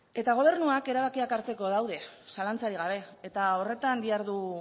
eta gobernuak erabakiak hartzeko daude zalantzarik gabe eta horretan dihardu